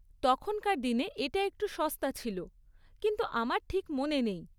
তখনকার দিনে এটা একটু সস্তা ছিল, কিন্তু আমার ঠিক মনে নেই।